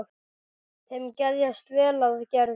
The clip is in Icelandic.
Þeim geðjast vel að Gerði.